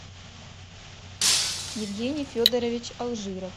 евгений федорович алжиров